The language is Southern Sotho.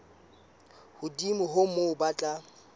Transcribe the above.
hodimo ho moo ba tla